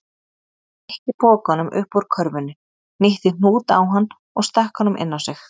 Nikki pokanum upp úr körfunni, hnýtti hnút á hann og stakk honum inn á sig.